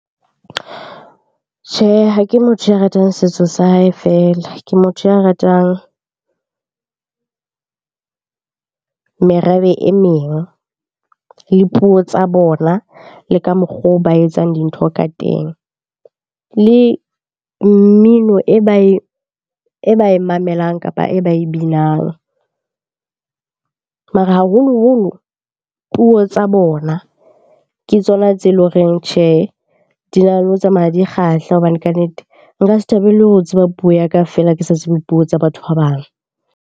Tjhehe, ha ke motho ya ratang setso sa hae feela. Ke motho ya ratang merabe e meng le puo tsa bona, le ka mokgo ba etsang dintho ka teng. Le mmino e ba e mamelang kapa e ba e binang mara haholoholo puo tsa bona ke tsona tse leng horeng tjhe, di na le ho tsamaya di kgahla. Hobane kannete nka se thabele ho tseba puo ya ka feela ke sa tsebe puo tsa batho ba bang.